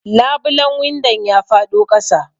Labulen windon ya faɗo ƙasa.